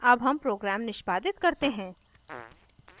अब हम program निष्पादित करते हैं